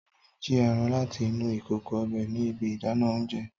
Tade n ji eran lati inu ikoko ọbẹ ni ibi idana oúnjẹ.